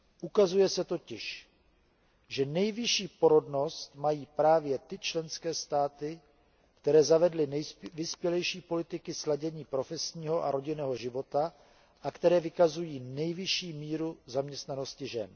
Ukazuje se totiž, že nejvyšší porodnost mají právě ty členské státy, které zavedly nejvyspělejší politiky sladění profesního a rodinného života a které vykazují nejvyšší míru zaměstnanosti žen.